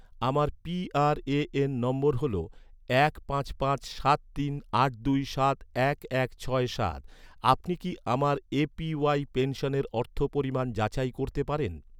আমার পিআরএএন নম্বর হল, এক পাঁচ পাঁচ সাত তিন আট দুই সাত এক এক ছয় সাত, আপনি কি আমার এ.পি.ওয়াই পেনশনের অর্থ পরিমাণ যাচাই করতে পারেন?